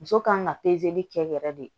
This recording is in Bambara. Muso kan ka kɛ yɛrɛ de